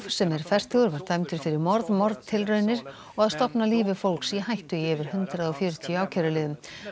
sem er fertugur var dæmdur fyrir morð morð og að stofna lífi fólks í hættu í yfir hundrað og fjörutíu ákæruliðum